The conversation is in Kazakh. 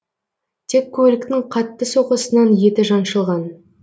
тек көліктің қатты соққысынан еті жаншылған